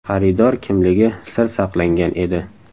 Xaridor kimligi sir saqlangan edi.